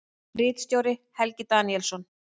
Ritstjóri: Helgi Daníelsson.